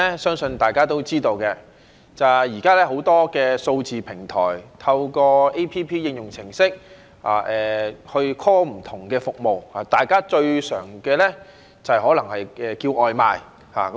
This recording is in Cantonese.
相信大家都知道，現時很多數字平台，透過 App 應用程式去 call 不同的服務，大家最常用的可能是叫外賣。